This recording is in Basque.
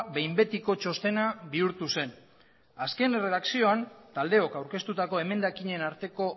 behin betiko txostena bihurtu zen azken erredakzioan taldeok aurkeztutako emendakinen arteko